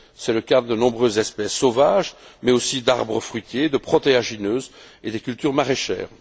C'est le cas de nombreuses espèces sauvages, mais aussi des arbres fruitiers, des protéagineuses et des cultures maraîchères.